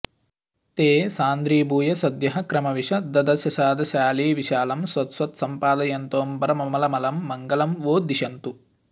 ते सान्द्रीभूय सद्यः क्रमविशददशाशादशालीविशालं शश्वत्सम्पादयन्तोऽम्बरममलमलं मङ्गलं वो दिशन्तु